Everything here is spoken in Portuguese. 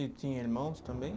E tinha irmãos também?